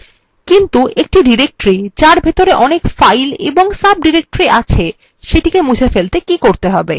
কিন্তু একটি directory যার ভেতরে অনেক files এবং সাবডিরেক্টরি আছে সেটিকে মুছে ফেলতে কী করতে হবে